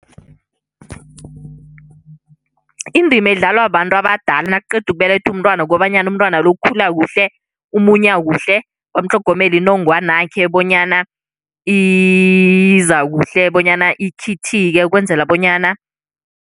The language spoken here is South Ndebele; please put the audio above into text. Indima edlalwa bantu abadala nakuqeda ukubelethwa umntwana kukobanyana umntwana lo ukhula kuhle, umunya kuhle bamutlhogomele inongwana yakhe bonyana iza kuhle bonyana ikhithike ukwenzela bonyana